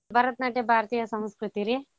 ಭರತ್ನಾಟ್ಯ ಭಾರತೀಯ ಸಂಸ್ಕೃತಿರಿ.